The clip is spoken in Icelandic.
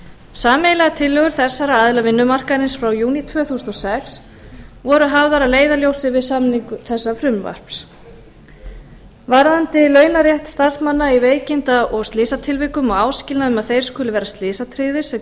sameiginlegar tillögur þessara aðila vinnumarkaðarins frá júní tvö þúsund og sex voru hafðar að leiðarljósi við samningu þessa frumvarps varðandi launarétt starfsmanna í veikinda og slysatilvikum og áskilnað um að þeir skuli vera slysatryggðir sem